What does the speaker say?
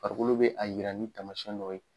Farikolo bɛ a jira ni taamasiyɛn dɔ ye